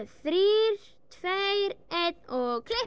þrír tveir einn og